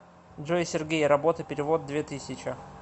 джой сергей работа перевод две тысячи